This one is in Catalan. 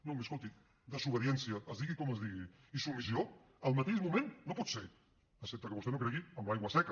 no miri escolti desobediència es digui com es digui i submissió al mateix moment no pot ser excepte que vostè no cregui en l’aigua seca